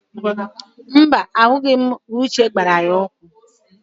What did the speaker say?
Mba, ahụghị m mgbe Uche gbara ya ụkwụ